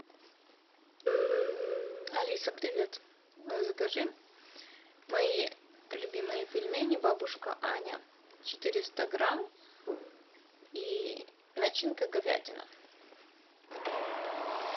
алиса привет закажи мои любимые пельмени бабушка аня четыреста грамм и начинка говядина